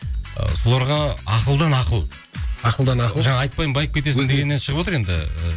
соларға ақылдан ақыл ақылдан ақыл жаңа айтпаймын байып кетесің дегеннен шығып отыр енді